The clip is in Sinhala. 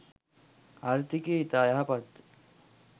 ආර්ථිකය ඉතා යහපත්ය.